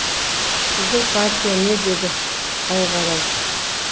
сіздің партия не деді байғарау